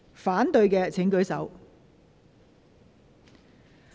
反對的請舉手。